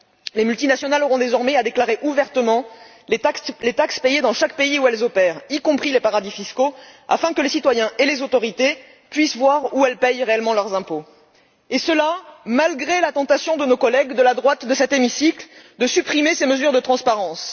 Les multinationales devront désormais déclarer ouvertement les taxes payées dans chaque pays où elles opèrent y compris les paradis fiscaux afin que les citoyens et les autorités puissent savoir où elles paient réellement leurs impôts et ce, malgré la tentation, parmi nos collègues de la droite de cet hémicycle, de supprimer ces mesures de transparence.